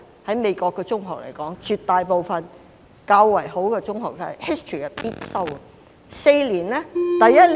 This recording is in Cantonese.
在美國 ，History 在絕大部分較好的中學都是必修科。